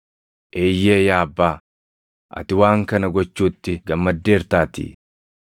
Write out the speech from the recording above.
Eeyyee yaa Abbaa, ati waan kana gochuutti gammaddeertaatii.